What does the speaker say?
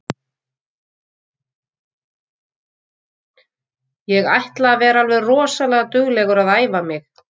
Ég ætla að vera alveg rosalega duglegur að æfa mig.